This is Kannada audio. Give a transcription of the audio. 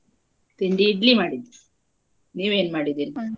ತಿಂಡಿ idli ಮಾಡಿದ್ದೆ ನೀವೇನ್ ?